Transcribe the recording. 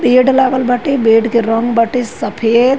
पेड लागल बाटे बेड के रंग बाटे सफ़ेद।